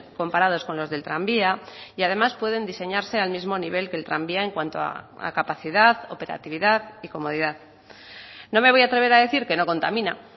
comparados con los del tranvía y además pueden diseñarse al mismo nivel que el tranvía en cuanto a capacidad operatividad y comodidad no me voy a atrever a decir que no contamina